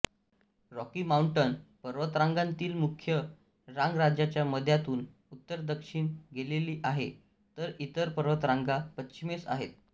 Rocky Mountain पर्वतरांगांतील मुख्य रांग राज्याच्या मध्यातून उत्तरदक्षिण गेलेली आहे तर इतर पर्वतरांगा पश्चिमेस आहेत